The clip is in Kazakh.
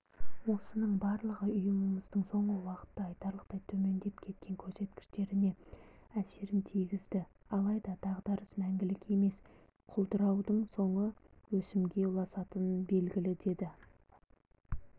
осының барлығы ұйымымыздың соңғы уақытта айтарлықтай төмендеп кеткен көрсеткіштеріне әсерін тигізді алайда дағдарыс мәңгілік емес құлдыраудың соңы өсімге ұласатыны белгілі деді